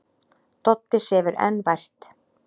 Doddi sefur enn vært.